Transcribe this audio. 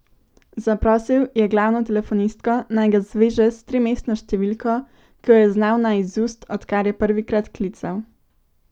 Zaprosil je glavno telefonistko, naj ga zveže s trimestno številko, ki jo je znal na izust, odkar je prvikrat klical.